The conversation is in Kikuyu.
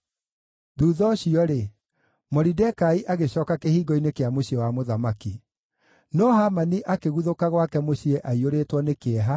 Thuutha ũcio-rĩ, Moridekai agĩcooka kĩhingo-inĩ kĩa mũciĩ wa mũthamaki. No Hamani akĩguthũka gwake mũciĩ aiyũrĩtwo nĩ kĩeha,